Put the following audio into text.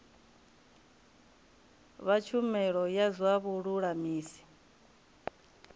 vha tshumelo ya zwa vhululamisi